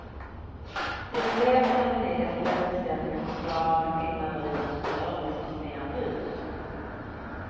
Till en del kan den negativa inställningen förklaras med skillnader i den service som erbjuds.